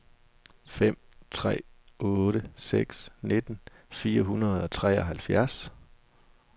fem tre otte seks nitten fire hundrede og treoghalvfjerds